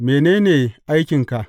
Mene ne aikinka?